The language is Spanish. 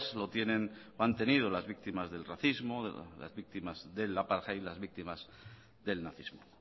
lo tienen o han tenido las víctimas del racismo las víctimas del apartheid y las víctimas del nazismo